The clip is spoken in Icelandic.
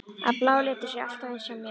Að blái liturinn sé alltaf eins hjá mér?